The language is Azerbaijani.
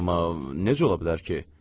Amma necə ola bilər ki?